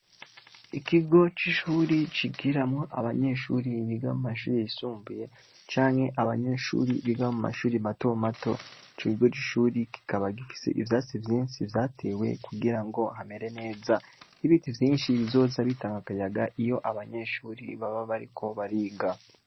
Ikigo c'ishuri cigiramwo abanyeshuri biga mu mashure yisumbuye canke abanyeshuri biga mu mashuri mato mato, ico kigo c'ishuri kikaba gifise ivyatsi vyinshi vyatewe kugira ngo hamere neza, ibiti vyinshi bizoza bitanga akayaga iyo abanyeshuri baba bariko bariga.